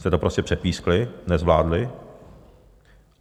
Jste to prostě přepískli, nezvládli.